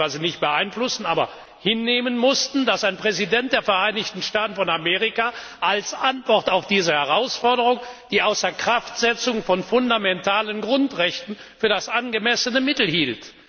wir konnten es ja teilweise nicht beeinflussen hinnehmen mussten, dass ein Präsident der Vereinigten Staaten von Amerika als Antwort auf diese Herausforderung die Außerkraftsetzung von fundamentalen Grundrechten für das angemessen Mittel hielt.